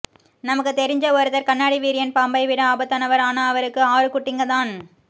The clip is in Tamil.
நமக்கு தெரிஞ்ச ஒருத்தர் கண்ணாடி வீரியன் பாம்பை விட ஆபத்தானவர் ஆனா அவருக்கு ஆறு குட்டிங்க தான்